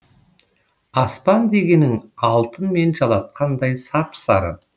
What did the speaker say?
аспан дегенің алтынмен жалатқандай сап сары